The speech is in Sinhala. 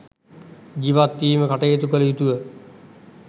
ජීවත්වීම කටයුතු කළ යුතුය.